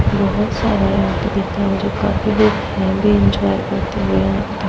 बोहोत सारे आदमी --